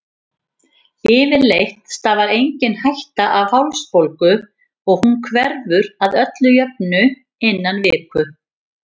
Yfirleitt stafar engin hætta af hálsbólgu og hún hverfur að öllu jöfnu innan viku.